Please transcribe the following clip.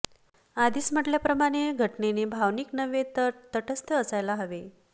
आधीच म्हटल्याप्रमाणे घटनेने भावनिक नव्हे तर तटस्थ असायला हवे